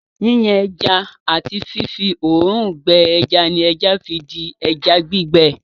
Yíyan ẹja àti fífí òòrùn gbẹ ẹja ni ẹja fi di ẹja gbígbẹ.